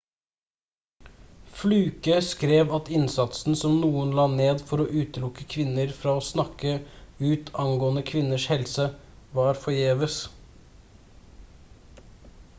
fluke skrev at innsatsen som noen la ned for å utelukke kvinner fra å snakke ut angående kvinners helse var forgjeves